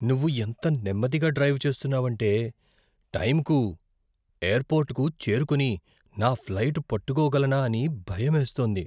నువ్వు ఎంత నెమ్మదిగా డ్రైవ్ చేస్తున్నావంటే, టైంకు ఎయిర్పోర్ట్కు చేరుకొని, నా ఫ్లైట్ పట్టుకోగలనా అని భయమేస్తోంది.